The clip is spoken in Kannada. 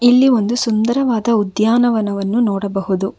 ಇಲ್ಲಿ ಒಂದು ಸುಂದರವಾದ ಉದ್ಯಾನವನವನ್ನು ನೋಡಬಹುದು.